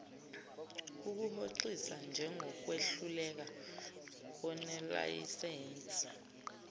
ukuhoxisa njengokwehluleka konelayisense